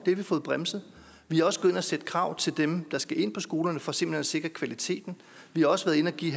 vi fået bremset vi er også gået har stillet krav til dem der skal ind på skolerne for simpelt hen at sikre kvaliteten vi har også været inde og give